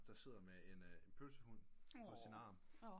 Der sidder med en pølsehund på sin arm